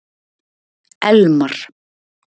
Elmar